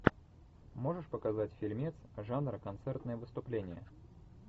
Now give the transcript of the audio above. можешь показать фильмец жанра концертное выступление